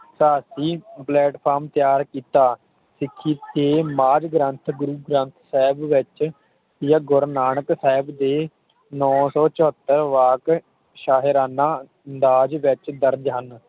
Platform ਤਿਆਰ ਕੀਤਾ ਸਿੱਖੀ ਤੇ ਮਾਧ ਗ੍ਰੰਥ ਗੁਰੂ ਗ੍ਰੰਥ ਜੀ ਦੇ ਵਿਚ ਗੁਰੂ ਨਾਨਕ ਸਾਹਿਬ ਦੇ ਨੌ ਸੌ ਚੋਹਤਰ ਵਾਕ ਸ਼ਾਹੀਰਾਣਾ ਅੰਦਾਜ਼ ਵਿਚ ਦਰਜ ਹਨ